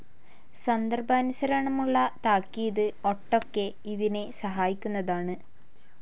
സന്ദർഭാനുസരണമുള്ള താക്കീത് ഒട്ടൊക്കെ ഇതിനെ സഹായിക്കുന്നതാണ്.